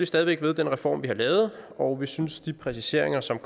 stadig væk ved den reform vi har lavet og vi synes at de præciseringer som